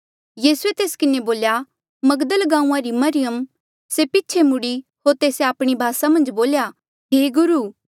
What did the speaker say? यीसूए तेस्सा किन्हें बोल्या मगदल गांऊँआं री मरियम से पीछे मुड़ी होर तेस्से आपणी भासा मन्झ बोल्या हे गुरु